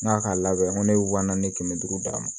N k'a k'a labɛn ko ne wa naani kɛmɛ duuru d'a ma